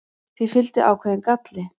því fylgdi ákveðinn galli